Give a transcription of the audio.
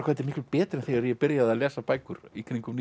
þetta er miklu betra en þegar ég byrjaði að lesa bækur í kringum